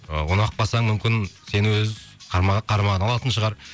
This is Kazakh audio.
ы ұнап қалсаң мүмкін сені өз қарамағына алатын шығар